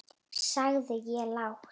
sagði ég lágt.